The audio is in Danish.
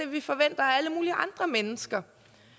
vi forventer af alle mulige andre mennesker